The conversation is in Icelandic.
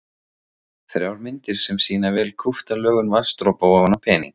Þrjár myndir sem sýna vel kúpta lögun vatnsdropa ofan á pening.